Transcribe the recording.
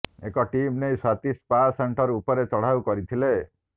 ଏକ ଟିମ ନେଇ Swati spa centre ଉପରେ ଚଢ଼ାଉ କରିଥିଲେ